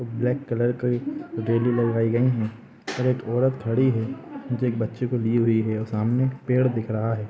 एक black colour का और एक औरत खड़ी है और एक बच्चे के लिए हुई है और सामने पेड़ दिख रहा है।